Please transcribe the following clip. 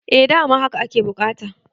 eh dama haka ake bukata